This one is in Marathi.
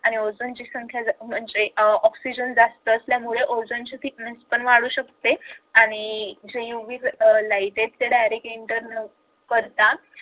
आणि ओझोन ची संख्या जर म्हणजे ऑक्सिजन जास्त असल्यामुळे ओझोनचे thickness पण वाढू शकते आणि सहयोगी light आहे त्या इंटर न करता